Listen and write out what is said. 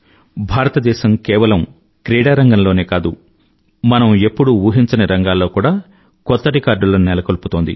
భారతదేశం కేవలం క్రీడారంగం లోనే కాదు మనం ఎప్పుడూ ఊహించని రంగాల్లో కూడా భారతదేశం కొత్త రికార్డులను నెలకొల్పుతోంది